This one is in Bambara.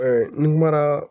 n kumara